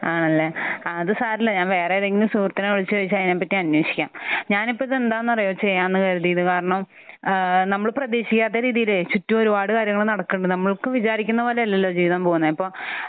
ആണല്ലേ. ആ അത് സാരമില്ല. ഞാൻ വേറെ ഏതെങ്കിലും സുഹൃത്തിനെ വിളിച്ച് ചോദിച്ച് അതിനെ പറ്റി അന്വേഷിക്കാം. ഞാൻ ഇപ്പോൾ ഇത് എന്താണെന്ന് അറിയുമോ ചെയ്യാമെന്ന് കരുതിയത്? കാരണം ഏഹ് നമ്മൾ പ്രതീക്ഷിക്കാത്ത രീതിയിലെ ചുറ്റും ഒരുപാട് കാര്യങ്ങൾ നടക്കുന്നുണ്ട്. നമ്മൾക്ക് വിചാരിക്കുന്ന പോലെയല്ലല്ലോ ജീവിതം പോകുന്നത്. അപ്പോൾ